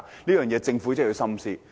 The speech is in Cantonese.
這一點政府必須深思。